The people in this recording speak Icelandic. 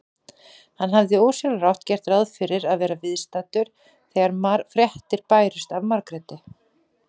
Hann hafði ósjálfrátt gert ráð fyrir að vera viðstaddur þegar fréttir bærust af Margréti.